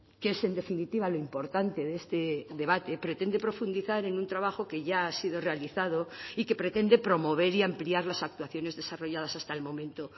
que es en definitiva lo importante de este debate pretende profundizar en un trabajo que ya ha sido realizado y que pretende promover y ampliar las actuaciones desarrolladas hasta el momento